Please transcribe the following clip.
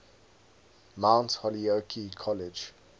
mount holyoke college